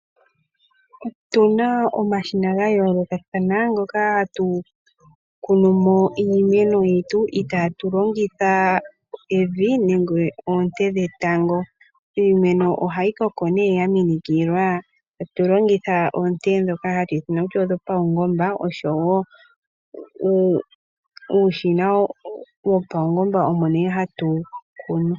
Otu na omashina ga yoolokathana moka hatu kunu mo iimeno yetu itaatu longitha evi oshowo oonte dhetango. Iimeno ohayi koko ya minikilwa koonte dhopaungomba ndhoka dhi li muushina wopaungomba moka hamu kunwa.